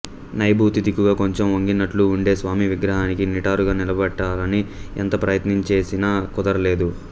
నైఋతి దిక్కుగా కొంచెం వంగినట్లు వుండే స్వామి విగ్రహాన్ని నిటారుగా నిలబెట్టాలని ఎంత ప్రయత్నంచేసినా కుదరలేదు